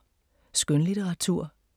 Skønlitteratur